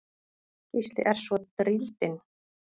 Gísli er svo drýldinn.